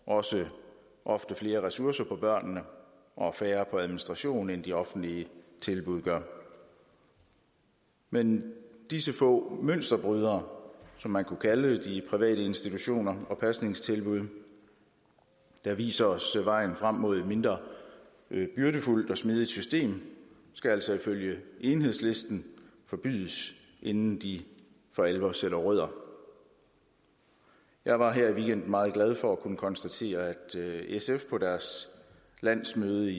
også ofte flere ressourcer på børnene og færre på administration end de offentlige tilbud gør men disse få mønsterbrydere som man kunne kalde de private institutioner og pasningstilbud der viser os vejen frem mod et mindre byrdefuldt og mere smidigt system skal altså ifølge enhedslisten forbydes inden de for alvor sætter rødder jeg var her i weekenden meget glad for at kunne konstatere at sf på deres landsmøde